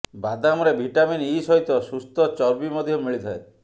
ବାଦାମରେ vitamin E ସହିତ ସୁସ୍ଥ ଚର୍ବି ମଧ୍ୟ ମିଳିଥାଏ